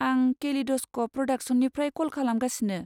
आं केलिड'स्क'प प्रडाक्शन्सनिफ्राय कल खालामगासिनो।